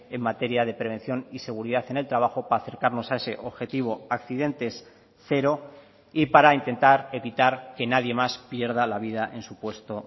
en materia de prevención y seguridad en el trabajo para acercarnos a ese objetivo accidentes cero y para intentar evitar que nadie más pierda la vida en su puesto